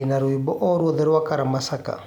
ndĩna rwĩmbo o ruothe rwa karamashaka